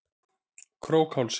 Krókhálsi